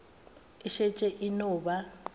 e šetše e no ba